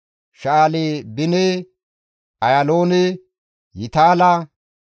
Sha7albine, Ayaaloone, Yitaala,